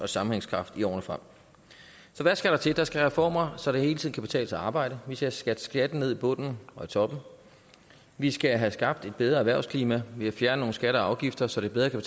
sammenhængskraft i årene frem hvad skal der til der skal komme reformer så det hele tiden kan betale sig at arbejde vi skal have sat skatten ned i bunden og toppen vi skal have skabt et bedre erhvervsklima ved at fjerne nogle skatter og afgifter så det bedre kan